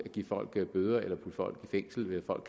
give folk bøder eller putte folk i fængsel hvis folk